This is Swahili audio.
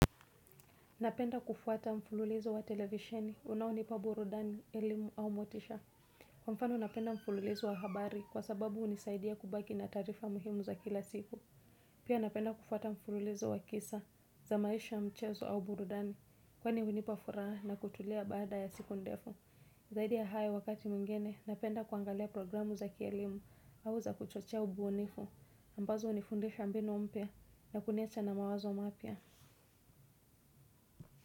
Napenda kufuata mfululizo wa televisheni unawunipa burudani, elimu au motisha. Kwa mfano napenda mfululizo wa habari kwa sababu unisaidia kubaki na tarifa muhimu za kila siku. Pia napenda kufuata mfululizo wa kisa za maisha mchezo au burudani kwa ni unipa furaha na kutulia baada ya siku ndefu. Zaidia haya wakati mngine napenda kuangalia programu za kielimu au za kuchochea ubunifu ambazo unifundisha mbinu mpia na kuniacha na mawazo mapia.